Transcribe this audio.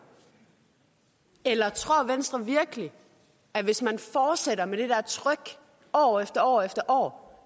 eller tror venstre virkelig at hvis man fortsætter med det der tryk år efter år efter år